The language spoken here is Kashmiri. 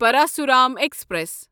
پراسورام ایکسپریس